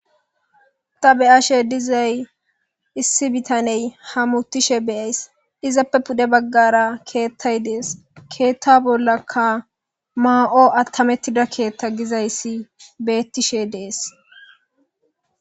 ta beyashe dizay issi bitaney hamutishe beyayis izappe pude baggara keettay dees keetta bollakka maa7o attamettida keethta gizayssi beettishe dees